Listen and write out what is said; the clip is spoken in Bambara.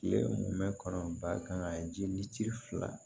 Kile kun bɛ kɔnɔnba kan jili fila